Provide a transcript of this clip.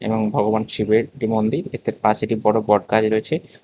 এবং ভগবান শিবের একটি মন্দির তার পাশে একটি বড় বটগাছ রয়েছে।